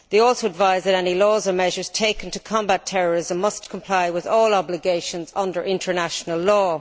They also advised that any laws or measures taken to combat terrorism must comply with all obligations under international law.